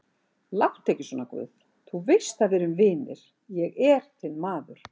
Láttu ekki svona guð, þú veist að við erum vinir, ég er þinn maður.